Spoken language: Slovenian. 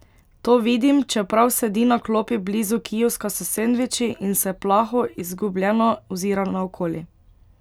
To vidim, čeprav sedi na klopi blizu kioska s sendviči in se plaho, izgubljeno ozira naokoli.